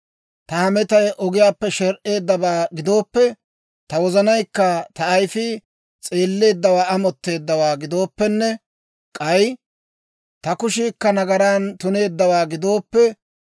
Ta hametay ogiyaappe sher"eedabaa gidooppe, ta wozanaykka ta ayifii s'eelleeddawaa amotteeddawaa gidooppenne, k'ay ta kushiikka nagaran tuneeddawaa gidooppe,